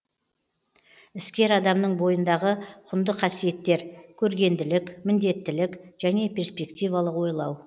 іскер адамның бойындағы құнды қасиеттер көргенділік міндеттілік және перспективалық ойлау